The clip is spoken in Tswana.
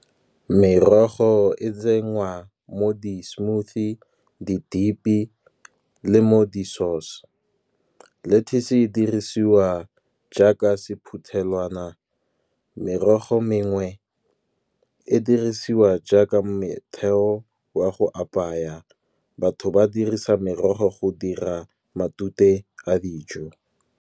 Merogo e tsenngwa mo di-smoothie, di-dip-i, le mo di sauce. Lettuce e dirisiwa jaaka sephuthelwana, merogo mengwe e dirisiwa jaaka metheo wa go apaya, batho ba dirisa merogo go dira matute a dijo.